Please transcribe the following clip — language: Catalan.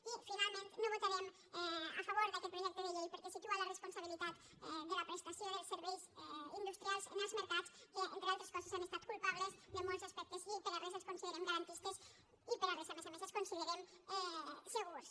i finalment no votarem a favor d’aquest projecte de llei perquè situa la responsabilitat de la prestació dels serveis industrials en els mercats que entre altres coses han estat culpables de molts aspectes i per a res els considerem garantistes i per a res a més a més els considerem segurs